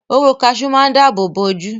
Hóró kaṣú máa dábòbò ojú.